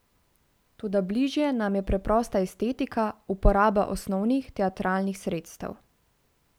Toda bližje nam je preprosta estetika, uporaba osnovnih teatralnih sredstev.